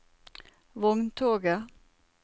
vogntoget